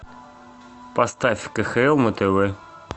поставь кхл на тв